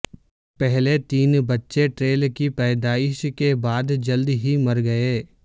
پہلے تین بچے ٹیریل کی پیدائش کے بعد جلد ہی مر گئے